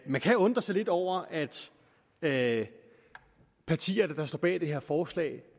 man kan undre sig lidt over at at partierne der står bag det her forslag